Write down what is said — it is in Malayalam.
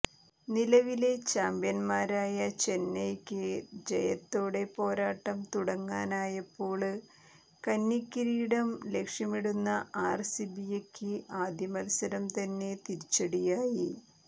നിലവിലെ ചാംപ്യന്മാരയ ചെന്നൈയ്ക്ക ജയത്തോടെ പോരാട്ടം തുടങ്ങനായപ്പോള് കന്നി കിരീടം ലക്ഷ്യമിടുന്ന ആര്സിബിയക്ക് ആദ്യ മത്സരം തന്നെ തിരിച്ചടിയായി